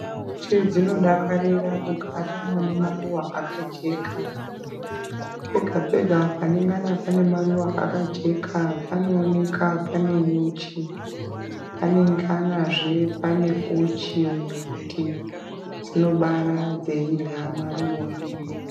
Nyuchi dzinodakarira kugara mune maruwa akajeka, pega pega panonga pane maruwa akajeka panooneka pane nyuchi, panoo-nekahe uchi nekuti dzinobara dzeirye maruwa.